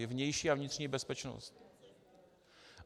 Je vnější a vnitřní bezpečnost.